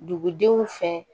Dugudenw fɛ